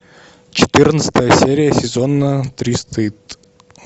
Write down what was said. четырнадцатая серия сезона три стыд